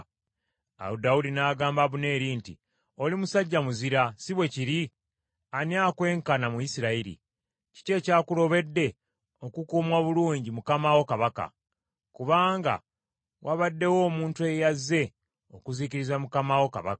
Awo Dawudi n’agamba Abuneeri nti, “Oli musajja muzira, si bwe kiri? Ani akwenkana mu Isirayiri? Kiki ekyakulobedde okukuuma obulungi mukama wo kabaka? Kubanga waabaddewo omuntu eyazze okuzikiriza mukama wo kabaka.